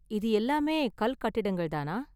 இது எல்லாமே கல் கட்டிடங்கள் தானா?